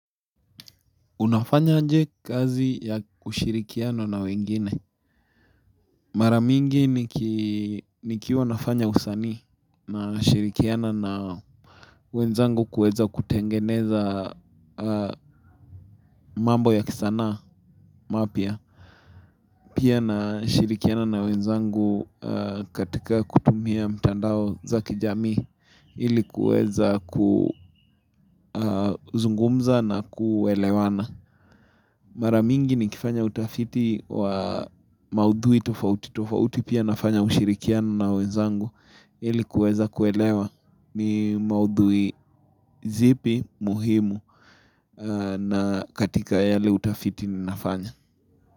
Unafanya aje kazi ya ushirikiano na wengine. Maramingi nikiwa nafanya usanii na shirikiana na wenzangu kuweza kutengeneza mambo ya kisana mapya. Pia na shirikiana na wenzangu katika kutumia mtandao za kijamii ilikuweza kuzungumza na kuelewana. Maramingi ni kifanya utafiti wa maudhui tofauti, tofauti pia nafanya ushirikiano na wenzangu ili kuweza kuelewa ni maudhui zipi muhimu na katika yale utafiti ni nafanya.